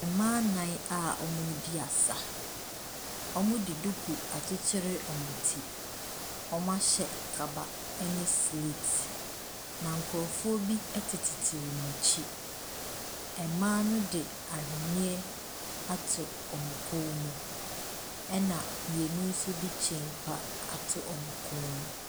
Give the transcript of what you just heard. Mmaa nnan a wɔredi asa, wɔde duku akyekyere wɔn ti, wɔahyɛ kaba ne sleete na nkurɔfoɔ bi tetetete wɔn akyi. Maa ne di aweneɛ ato wɔn kɔn mu na mmienu nso de chain pa ato ewɔn kɔn mu.